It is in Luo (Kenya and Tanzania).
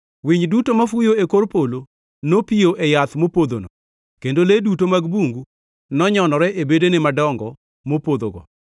Winy duto mafuyo e kor polo nopiyo e yath mopodhono, kendo le duto mag bungu nonyonore e bedene madongo mopodhogo.